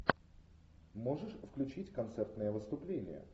можешь включить концертное выступление